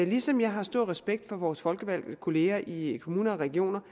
ligesom jeg har stor respekt for vores folkevalgte kolleger i kommuner og regioner